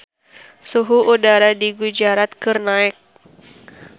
Suhu udara di Gujarat keur naek